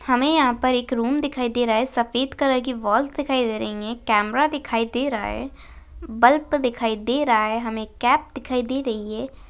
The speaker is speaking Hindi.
हमें यहां पर एक रूम दिखाई दे रहा है सफेद कलर की वॉल्स दिखाई दे रही है कैमरा दिखाई दे रहा है बल्ब दिखाई दे रहा है हमे कैप दिखाई दे रही है।